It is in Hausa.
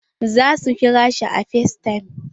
Za su kira shi a facetime.